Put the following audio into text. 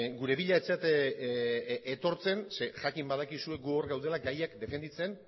gure bila ez zarete etortzen zeren jakin badakizue gu hor gaudela gaiak defenditzen